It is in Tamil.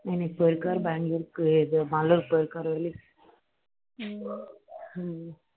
இன்னைக்கு போயிருக்காரு பெங்களூர் கு ஏதோ மாலுர் போயிருக்காரு early